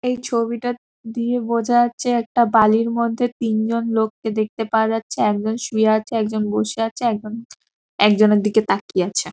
এই ছবিটা দিয়ে বোঝা যাচ্ছে একটা বালির মধ্যে তিন জন লোককে দেখতে পাওয়া যাচ্ছে। একজন শুয়ে আছে একজন বসে আছে একজন একজনের দিকে তাকিয়ে আছে ।